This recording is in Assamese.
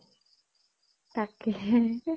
তাকে হে